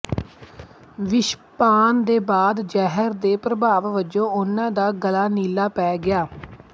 ਵਿਸ਼ਪਾਨ ਦੇ ਬਾਅਦ ਜ਼ਹਿਰ ਦੇ ਪ੍ਰਭਾਵ ਵਜੋਂ ਉਹਨਾਂ ਦਾ ਗਲਾ ਨੀਲਾ ਪੈ ਗਿਆ ਸੀ